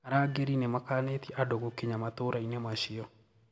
Arangeri nimakanitie andũ gũkinya matũraini macio.